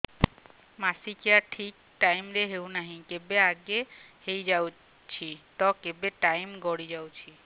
ମାସିକିଆ ଠିକ ଟାଇମ ରେ ହେଉନାହଁ କେବେ ଆଗେ ହେଇଯାଉଛି ତ କେବେ ଟାଇମ ଗଡି ଯାଉଛି